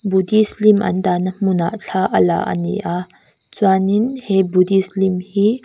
buddhist lim an dahna hmunah thla a la ani a chuanin he buddhist lim hi--